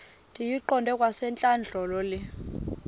ndiyiqande kwasentlandlolo le